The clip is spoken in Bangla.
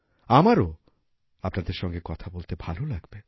আমারও আপনাদের সঙ্গে কথা বলতে ভাল লাগবে